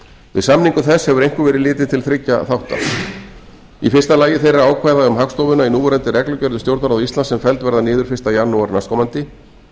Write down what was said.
við samningu þess hefur einkum verið litið til þriggja þátta í fyrsta lagi þeirra ákvæða um hagstofuna í núverandi reglugerð um stjórnarráð íslands sem felld verða niður fyrsta janúar næstkomandi